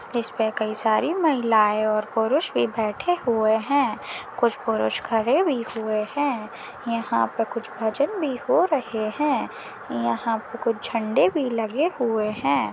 इसपर कही सारी महिलाये और पुरुष भी बैठे हुए हैं कुछ पुरुष खड़े भी हुए हैं यहाँ पे कुछ भजन भी हो रहे हैं यहाँ पे कुछ झंडे भी लगे हुए हैं।